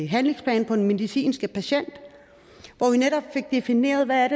handlingsplan for den medicinske patient hvor vi netop fik defineret hvad